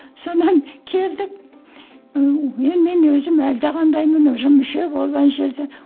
содан келдік ііі мен мен өзім әлдеқандаймын уже мүше болып әне жерде